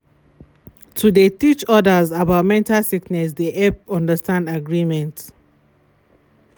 to de teach others about mental sickness de help understand agreement.